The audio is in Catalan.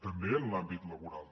també en l’àmbit laboral